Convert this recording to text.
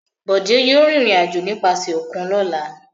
Bọ̀dé yóò rìnrìn-àjò nípasẹ̀ òkun lọ́la.